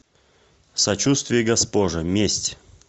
сочуствие госпоже месть